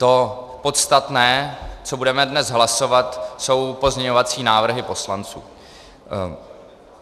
To podstatné, co budeme dnes hlasovat, jsou pozměňovací návrhy poslanců.